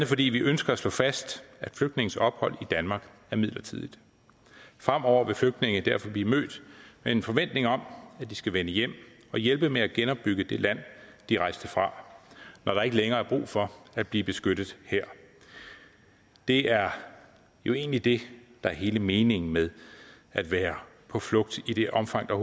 fordi vi ønsker at slå fast at flygtninges ophold i danmark er midlertidigt fremover vil flygtninge derfor blive mødt med en forventning om at de skal vende hjem og hjælpe med at genopbygge det land de rejste fra når der ikke længere er brug for at blive beskyttet her det er jo egentlig det der er hele meningen med at være på flugt i det omfang der